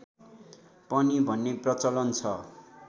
पनि भन्ने प्रचलन छ